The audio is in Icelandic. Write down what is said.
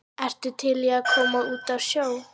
ertu til í að koma út á sjó?